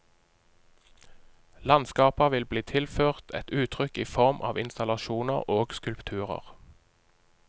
Landskaper vil bli tilført et uttrykk i form av installasjoner og skulpturer.